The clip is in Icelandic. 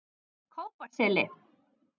Kópaseli